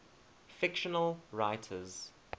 fictional writers